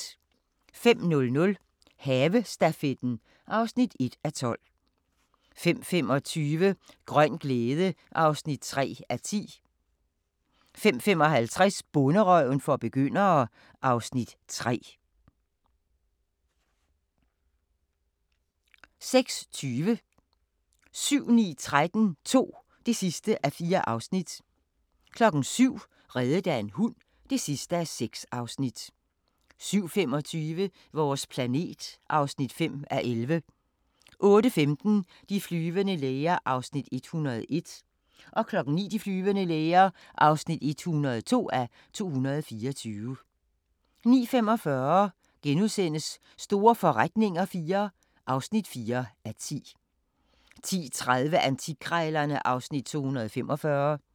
05:00: Havestafetten (1:12) 05:25: Grøn glæde (3:10) 05:55: Bonderøven for begyndere (Afs. 3) 06:20: 7-9-13 II (4:4) 07:00: Reddet af en hund (6:6) 07:25: Vores planet (5:11) 08:15: De flyvende læger (101:224) 09:00: De flyvende læger (102:224) 09:45: Store forretninger IV (4:10)* 10:30: Antikkrejlerne (Afs. 245)